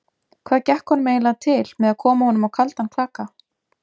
Hvað gekk honum eiginlega til með að koma honum á kaldan klaka?